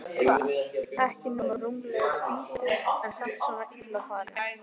Ekki nema rúmlega tvítug en samt svona illa farin.